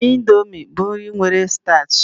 Indomi bụ nri nwere stach